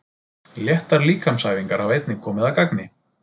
Léttar líkamsæfingar hafa einnig komið að gagni.